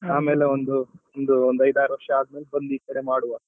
ಆಮೇಲೆ ಒಂದು ಒಂದು ಒಂದು ಐದ್ ಆರ್ ವರ್ಷ ಆದ್ಮೇಲೆ ಬಂದು ಈ ಕಡೆ ಮಾಡ್ವ